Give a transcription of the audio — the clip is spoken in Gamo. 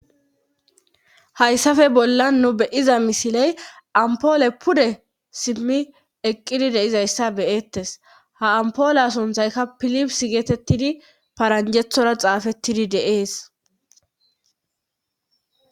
hayssafe bollan nu beyiza misiley ampoole pude simmi eqqidi deizayssa beyettes ha ampoole sunthayka pilips geetettidi paranjethora xaafettidi deees